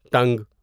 ٹنگ